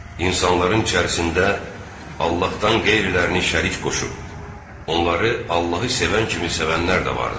İnsanların içərisində Allahdan qeyrilərini şərik qoşub, onları Allahı sevən kimi sevənlər də vardır.